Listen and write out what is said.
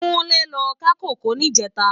Kunle lò ká kókòó nijètá